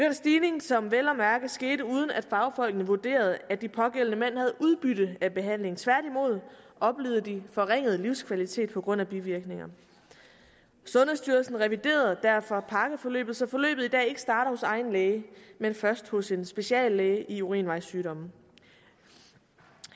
en stigning som vel at mærke skete uden at fagfolkene vurderede at de pågældende mænd havde udbytte af behandlingen tværtimod oplevede de forringet livskvalitet på grund af bivirkningerne sundhedsstyrelsen reviderede derfor pakkeforløbet så forløbet i dag ikke starter hos egen læge men først hos en speciallæge i urinvejssygdomme